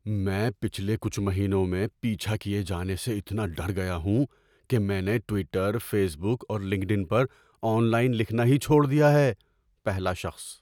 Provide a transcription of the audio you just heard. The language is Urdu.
میں پچھلے کچھ مہینوں میں پیچھا کیے جانے سے اتنا ڈر گیا ہوں کہ میں نے ٹویٹر، فیس بک اور لنکڈ ان پر آن لائن لکھنا ہی چھوڑ دیا ہے۔ (پہلا شخص)